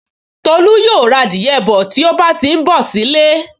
Tolú yóò ra adìẹ bọ̀ tí ó bá ti n bọ̀ sí ilé